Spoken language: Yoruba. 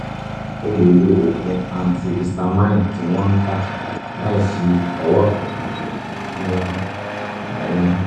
o lè lo oògùn antihistamine tí wọ́n ń tà láìsí owó kankan fún ara yíyún